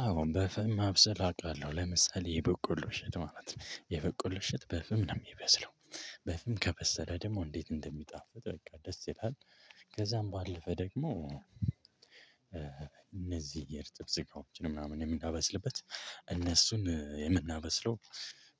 አወን በፍም ማብሰል አውቃለሁ ለምሳሌ የበቆሎ እሸት ማለት ነው የበቆሎ እሸት በፍም ነው እሚበስለው። በፍም ከበሰለ ደግሞ እንዴት እንደሚጣፍጥ በቃ ደስ ይላል። ከዛም ባለፈ ደግሞ እነዚህ የእርጥብ ስጋዎችን ምናምን የምናበስልበት። እነሱን የምናበስለው